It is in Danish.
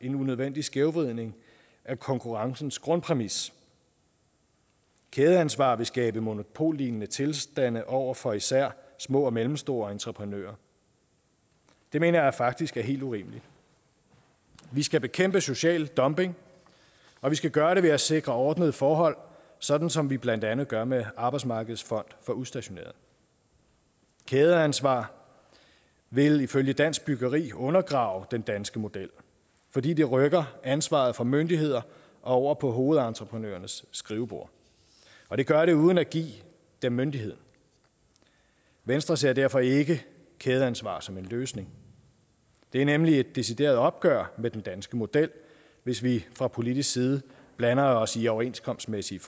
en unødvendig skævvridning af konkurrencens grundpræmis kædeansvar vil skabe monopollignende tilstande over for især små og mellemstore entreprenører det mener jeg faktisk er helt urimeligt vi skal bekæmpe social dumping og vi skal gøre det ved at sikre ordnede forhold sådan som vi blandt andet gør det med arbejdsmarkedets fond for udstationerede kædeansvar vil ifølge dansk byggeri undergrave den danske model fordi det rykker ansvaret for myndigheder over på hovedentreprenørernes skrivebord og det gør det uden at give dem myndigheden venstre ser derfor ikke kædeansvar som en løsning det er nemlig et decideret opgør med den danske model hvis vi fra politisk side blander os i overenskomstmæssige